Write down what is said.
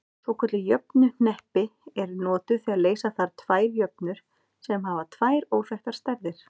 Svokölluð jöfnuhneppi eru notuð þegar leysa þarf tvær jöfnur sem hafa tvær óþekktar stærðir.